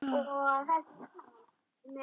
Ferð fínt í það.